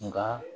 Nka